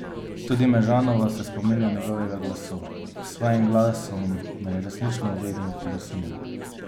Tudi Mežanova se spominja njegovega glasu: "S svojim glasom me je resnično vedno presunil.